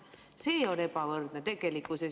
See on tegelikult ebavõrdsus.